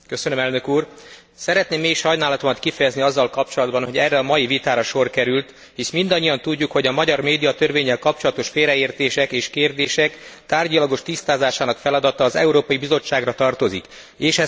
Szeretném mély sajnálatomat kifejezni azzal kapcsolatban, hogy erre a mai vitára sor került, hisz mindannyian tudjuk, hogy a magyar médiatörvénnyel kapcsolatos félreértések és kérdések tárgyilagos tisztázásának feladata az Európai Bizottságra tartozik, és ez folyamatban van.